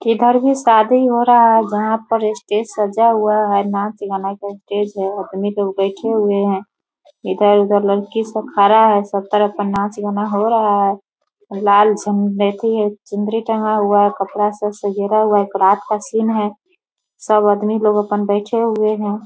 इधर भी शादी हो रहा है। जहाँ पर स्टेज सजा हुआ है नाच गाना का स्टेज है आदमी लोग बैठे हुए हैं इधर-उधर लड़की सब खड़ा है सब तरफ नाच गाना हो रहा है लाल सम बैठी है चुनरी टंगा हुआ है। कपड़ा सब सजेरा हुआ है। रात का सीन है। सब आदमी लोग अप्पन बैठे हुए हैं।